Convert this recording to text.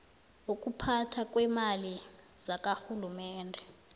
wokuphathwa kweemali zakarhulumende